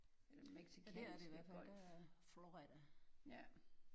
Den Mexicanske Golf ja